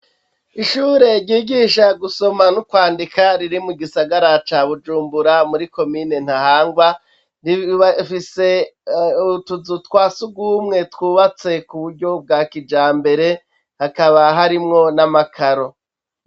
Ishure ryigisha gusoma no kwandika riri mu gisagara ca Bujumbura, muri komine Ntahangwa, rifise utuzu twa sugumwe twubatse ku buryo bwa kijambere, hakaba harimwo n'amakaro.